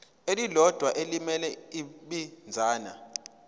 elilodwa elimele ibinzana